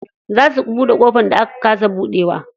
Za su buɗe ƙofar da aka kasa buɗewa.